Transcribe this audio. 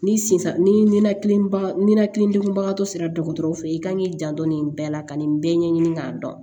Ni sinsan nia nɛnɛ kidenkunba tɔ sera dɔgɔtɔrɔw fe i kan k'i janto nin bɛɛ la ka nin bɛɛ ɲɛɲini k'a dɔn